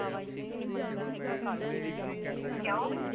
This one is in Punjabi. ਕਯੋ